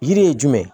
Yiri ye jumɛn ye